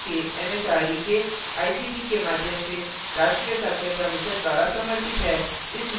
यह भारत सरकार एमएचआरडी के आईसीटी के माध्यम से राष्ट्रीय साक्षरता mission द्वारा समर्थित है